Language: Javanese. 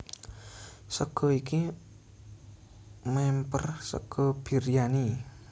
Sega iki mèmper sega Biryani